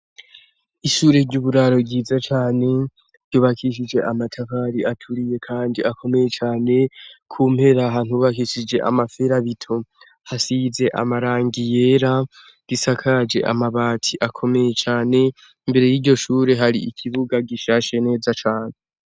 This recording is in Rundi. Ishure ry'uburaro bwiza cane, ryubakishije amatabari aturiye kandi akomeye cane, ku mpera, ahantu hubakishije amaferabito, hasize amarangi yera, gisakaje amabati akomeye cane, imbere y'iryo shure hari ikibuga gishashe neza cane.